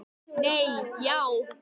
Nei já.